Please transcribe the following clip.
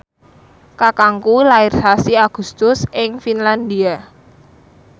kakangku lair sasi Agustus ing Finlandia